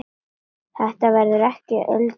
Þetta verður ekki öldin hans.